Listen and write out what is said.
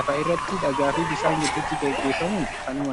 lafa irratti dhagaa fi bishaan gidduutti gaggeeffamuun kan uumamee dha.